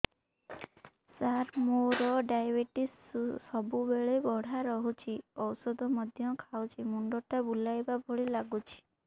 ସାର ମୋର ଡାଏବେଟିସ ସବୁବେଳ ବଢ଼ା ରହୁଛି ଔଷଧ ମଧ୍ୟ ଖାଉଛି ମୁଣ୍ଡ ଟା ବୁଲାଇବା ଭଳି ଲାଗୁଛି